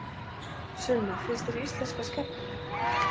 Sunna: Finnst þér íslenska skemmtileg?